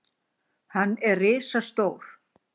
Hann er risastór.